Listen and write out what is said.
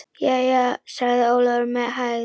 Jæja, sagði Ólafur með hægð.